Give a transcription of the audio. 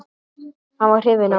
Hann var hrifinn af mér.